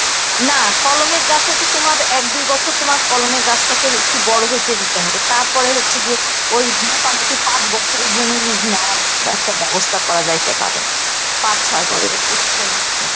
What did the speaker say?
না কলমের গাছে তো তোমার এক দুই বছর তোমার কলমের গাছটাকে একটু বড় হইতে দিতে হবে তারপর হচ্ছে গিয়ে ওই মোটামুটি পাঁচ বছরের জন্য lease নেওয়ার একটা ব্যবস্থা করা যাইতে পারে, পাঁচ ছয় বছর বুঝছো